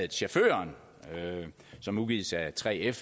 chaufføren som udgives af 3f